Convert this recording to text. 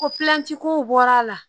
O kow bɔr'a la